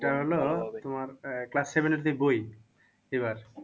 সেটা হলো তুমার class seven এর যে বই এইবার